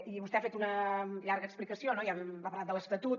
i vostè ha fet una llarga explicació no ha parlat de l’estatut